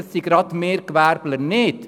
Das betrifft genau uns Gewerbeleute nicht.